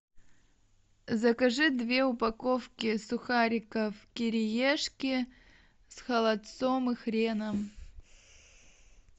закажи две упаковки сухариков кириешки с холодцом и хреном